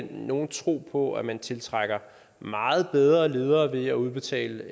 nogen tro på at man tiltrækker meget bedre ledere ved at udbetale